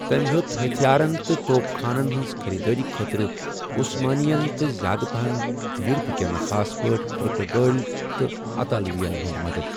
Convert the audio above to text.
تٔمۍ ہوٚت ہتھیارن تہٕ توپ خانن ہنٛز خریدٲری خٲطرٕ عثمانی یَن، تہٕ زیادٕ پٔہن یورپہٕ کٮ۪ن، خاص پٲٹھۍ پرتگالۍ تہٕ اطالوین ہنٛد مدد۔